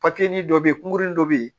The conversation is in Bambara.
dɔ bɛ yen kunkurunin dɔ bɛ ye